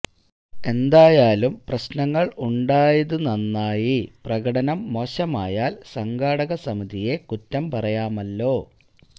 എന്തായാലും പ്രശ്നങ്ങള് ഉണ്ടായതു നന്നായി പ്രകടനം മോശമായാല് സംഘാടക സമിതിയെ കുറ്റം പറയാമല്ലോ